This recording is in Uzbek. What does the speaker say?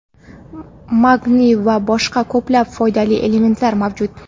magniy va boshqa ko‘plab foydali elementlar mavjud.